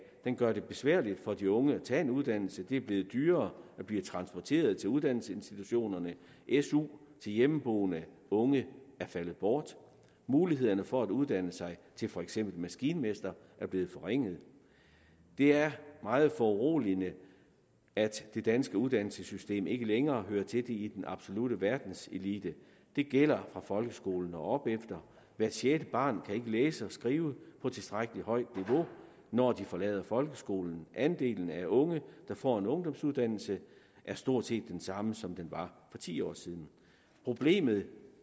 gør det besværligt for de unge at tage en uddannelse det er blevet dyrere at blive transporteret til uddannelsesinstitutionerne su til hjemmeboende unge er faldet bort og mulighederne for at uddanne sig til for eksempel maskinmester er blevet forringet det er meget foruroligende at det danske uddannelsessystem ikke længere hører til i den absolutte verdenselite det gælder fra folkeskolen og opefter hvert sjette barn kan ikke læse og skrive på tilstrækkelig højt niveau når det forlader folkeskolen andelen af unge der får en ungdomsuddannelse er stort set den samme som den var for ti år siden problemet